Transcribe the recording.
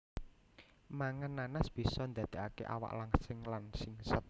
Mangan nanas bisa ndadekaké awak langsing lan singset